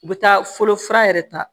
U bɛ taa fɔlɔ fura yɛrɛ ta